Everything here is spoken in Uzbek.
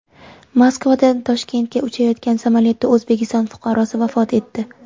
Moskvadan Toshkentga uchayotgan samolyotda O‘zbekiston fuqarosi vafot etdi.